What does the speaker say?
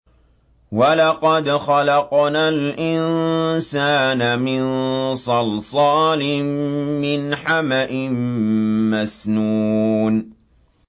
وَلَقَدْ خَلَقْنَا الْإِنسَانَ مِن صَلْصَالٍ مِّنْ حَمَإٍ مَّسْنُونٍ